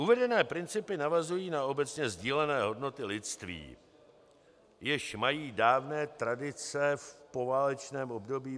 Uvedené principy navazují na obecně sdílené hodnoty lidství, jež mají dávné tradice, v poválečném období.